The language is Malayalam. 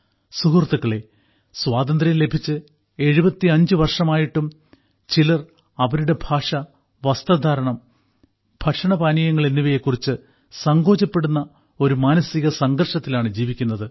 സുഹൃത്തുക്കളെ സ്വാതന്ത്ര്യം ലഭിച്ച് 75 വർഷമായിട്ടും ചിലർ അവരുടെ ഭാഷ വസ്ത്രധാരണം ഭക്ഷണപാനീയങ്ങൾ എന്നിവയെക്കുറിച്ച് സങ്കോചപ്പെടുന്ന ഒരു മാനസിക സംഘർഷത്തിലാണ് ജീവിക്കുന്നത്